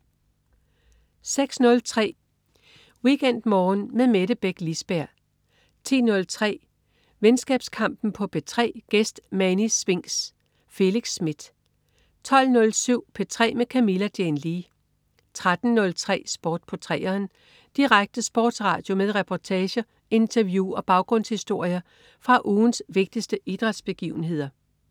06.03 WeekendMorgen med Mette Beck Lisberg 10.03 Venskabskampen på P3. Gæst: Mani Spinx. Felix Smith 12.07 P3 med Camilla Jane Lea 13.03 Sport på 3'eren. Direkte sportsradio med reportager, interview og baggrundshistorier fra ugens vigtigste idrætsbegivenheder